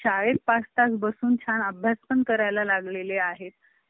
शाळेत पाच तास बसून छान अभ्यास पण करायला लागलेलं आहेत